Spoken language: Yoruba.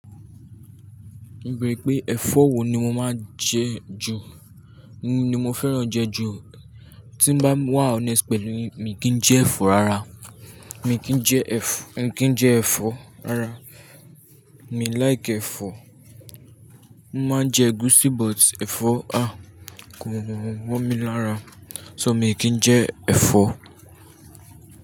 O beere pé ẹ̀fọ́ wo ni mo máa ń jẹ ju, ní mo fẹ́ràn jẹ ju. Tí bá wà honest pẹ̀lú yin, mi kì n jẹ ẹ̀fọ́ rárá. Mi kì í jẹ ẹ̀fọ́, mi kì í jẹ ẹ̀fọ́ rárá. Mi like ẹ̀fọ́. Mo máa ń jẹ ẹgúúsí but ẹ̀fọ́ a, gùn gùn gùn gùn mọ mi lára. So mi kì í jẹ ẹ̀fọ́.